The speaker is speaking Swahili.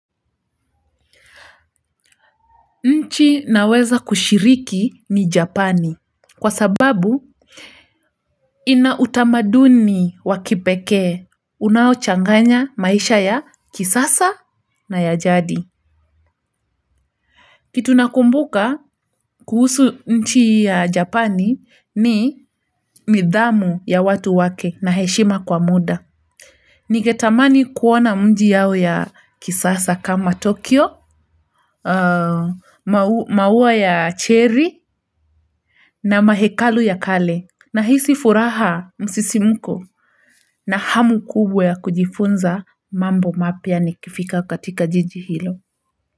Nchi naweza kushiriki ni Japani kwa sababu ina utamaduni wa kipekee unaochanganya maisha ya kisasa na ya jadi. Kitu nakumbuka kuhusu nchi ya Japani ni nidhamu ya watu wake na heshima kwa muda. Ningetamani kuona mji yao ya kisasa kama Tokyo, maua ya cherry na mahekalu ya kale nahisi furaha msisimko na hamu kubwa ya kujifunza mambo mapya nikifika katika jiji hilo.